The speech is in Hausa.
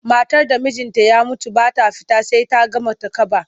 Matar da mijinta ya mutu ba ta fita sai ta gama takaba.